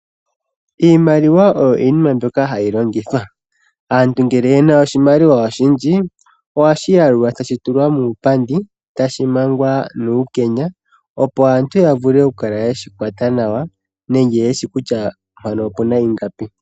Iimaliwa oyo iinima mbyoka hayi longithwa. Aantu ngele yena oshimaliwa oshindji, ohashi yalulwa, tashi tulwa muupandi, e tashi mangwa nuukenya, opo aantu yavule okukala yeshi kwata nawa, nenge yeshi kutya mpano opuna ingapi.